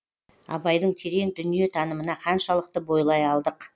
абайдың терең дүниетанымына қаншалықты бойлай алдық